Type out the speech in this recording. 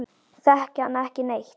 Þekki hann ekki neitt.